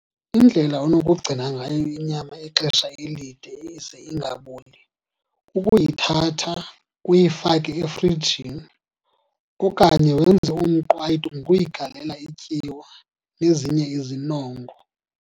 Indlela onokugcina ngayo inyama ixesha elide ize ingaboli kukuyithatha uyifake efrijini okanye wenze umqwayito ngokuyigalela ityiwa nezinye izinongo.